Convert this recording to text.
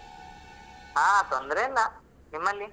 ಹಾ ತೊಂದರೆಯಿಲ್ಲ. ನಿಮ್ಮಲ್ಲಿ?